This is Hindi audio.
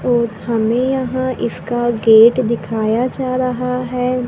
और हमें यहां इसका गेट दिखाया जा रहा है।